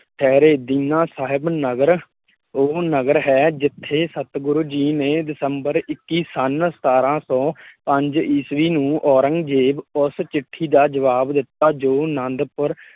ਠਹਿਰੇ ਦੀਨਾ ਸਾਹਿਬ ਨਗਰ ਉਹ ਨਗਰ ਹੈ ਜਿੱਥੇ ਸਤਿਗੁਰੂ ਜੀ ਨੇ ਦਸੰਬਰ ਇਕੀ ਸੰਨ ਸਤਾਰਾਂ ਸੌ ਪੰਜ ਈਸਵੀ ਨੂੰ ਔਰੰਗਜ਼ੇਬ ਉਸ ਚਿੱਠੀ ਦਾ ਜਵਾਬ ਦਿੱਤਾ ਜੋ ਅਨੰਦਪੁਰ